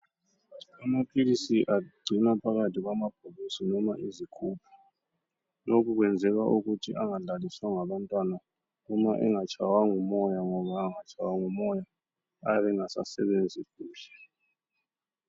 Amaphilisi agcinwa phakathi kwamabhokisi noma izigubhu lokhu kwenzelwa ukuthi enga dlaliswa ngabantwana noma engatshaywa ngumoya ngoba engatshaywa ngumoya ayabe engasa sebenzi kuhle.